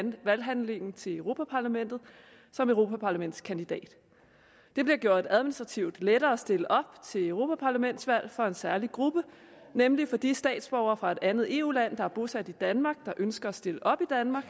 valghandlingen til europa parlamentet som europaparlamentskandidat det bliver gjort administrativt lettere at stille op til europaparlamentsvalg for en særlig gruppe nemlig for de statsborgere fra et andet eu land der er bosat i danmark og som ønsker at stille op i danmark